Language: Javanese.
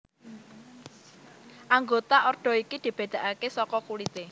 Anggota ordo iki dibédakaké saka kulité